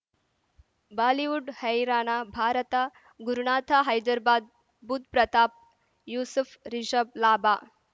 Bollywood Haryana Bharat Gurunath Hyderabad Budh Pratap Yusuf Rishabh ಲಾಭ